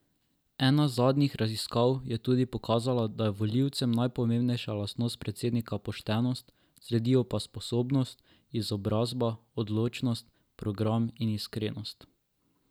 Ena zadnjih raziskav je tudi pokazala, da je volivcem najpomembnejša lastnost predsednika poštenost, sledijo pa sposobnost, izobrazba, odločnost, program in iskrenost.